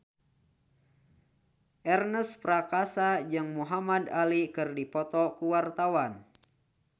Ernest Prakasa jeung Muhamad Ali keur dipoto ku wartawan